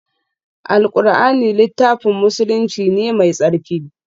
Alqur'ani littafin musulunci ne mai tsarki